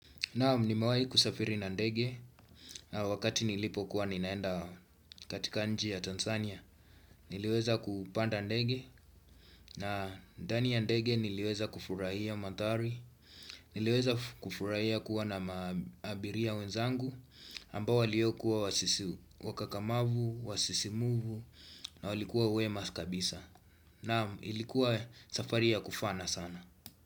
Naam nimewahi kusafiri na ndege wakati nilipo kuwa ninaenda katika nchi ya Tanzania Niliweza kupanda ndege na ndani ya ndege niliweza kufurahia manthari Niliweza kufurahia kuwa na maabiria wenzangu ambao waliokuwa wakakamavu, wasisimuvu na walikuwa wema kabisa Naam ilikuwa safari ya kufana sana.